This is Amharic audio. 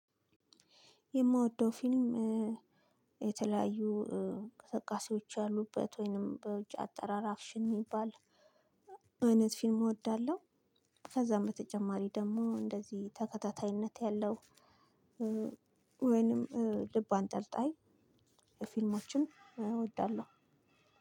የምወደው ፊልም የተለያዩ እንቅስቃሴዎች ያሉበት ወይንም በውጭ አጠራር አክሽን የሚባል አይነት ፊልም እወዳለሁ። ከዛም በተጨማሪ ደግሞ እንደዚህ ተከታታይነት ያለው ወይንም ልብ አንጠልጣይ። ፊልሞችን እወዳለሁ።